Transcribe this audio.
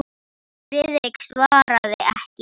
Friðrik svaraði ekki.